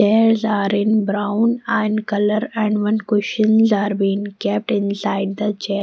hairs are in brown and colour and one cushions are been kept inside the chair.